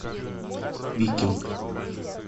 викинг